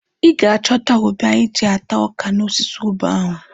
Ị ga-achọta ube anyị ji ata ọka n'osisi ube ahụ.